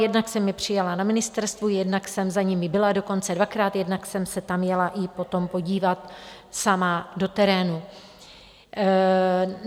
Jednak jsem je přijala na ministerstvu, jednak jsem za nimi byla, dokonce dvakrát, jednak jsem se tam jela i potom podívat sama do terénu.